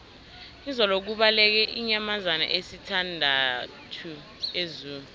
izolo kubaleke iinyamazana ezisithandathu ezoo